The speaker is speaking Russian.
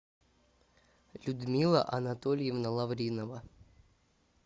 людмила анатольевна лавринова